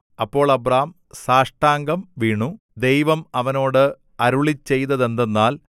അപ്പോൾ അബ്രാം സാഷ്ടാംഗം വീണു ദൈവം അവനോട് അരുളിച്ചെയ്തതെന്തെന്നാൽ